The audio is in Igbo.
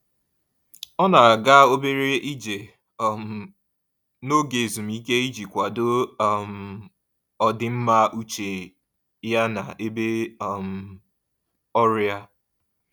Ọ na-aga obere ije um n'oge ezumike iji kwado um ọdịmma uche ya n'ebe um ọrụ ya.